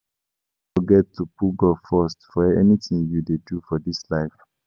No forget to put God first for anything you dey do for dis life